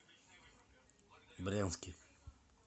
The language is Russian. брянске